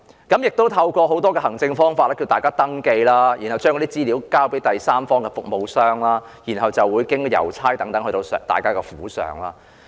當局透過很多行政方法呼籲市民登記，然後將資料交給第三方服務商，再經郵差派送府上。